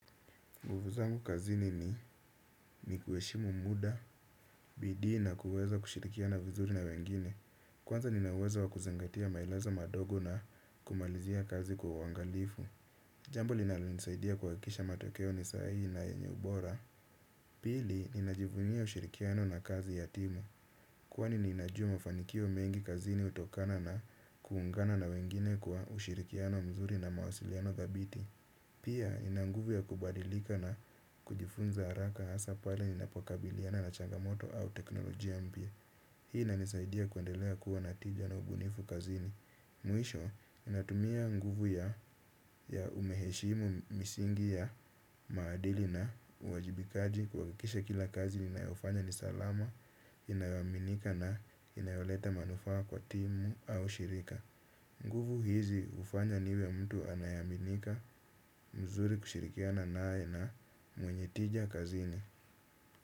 Nguvu zangu kazini ni kuheshimu muda, bidii na kuweza kushirikiana vizuri na wengine. Kwanza ninauwezo wa kuzangatia maelezo madogo na kumalizia kazi kwa uangalifu. Jambo linalonisaidia kuhakikisha matokeo ni sahihi na yenye ubora. Pili, ninajivunia ushirikiano na kazi ya timu. Kwani ninajua mafanikio mengi kazini hutokana na kuungana na wengine kwa ushirikiano mzuri na mawasiliano dhabiti. Pia nina nguvu ya kubadilika na kujifunza haraka hasaa pale ninapokabiliana na changamoto au teknolojia mpya. Hii inanisaidia kuendelea kuwa na tija na ubunifu kazini. Mwisho ninatumia nguvu ya umheshimu misingi ya maadili na uwajibikaji kuhakikisha kila kazi ninayofanya ni salama, inayoaminika na inayoleta manufaa kwa timu au shirika. Nguvu hizi hufanya niwe mtu anayeaminika mzuri kushirikiana naye na mwenye tija kazini.